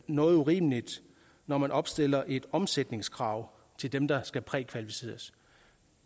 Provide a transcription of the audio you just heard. noget urimeligt når man opstiller et omsætningskrav til dem der skal prækvalificeres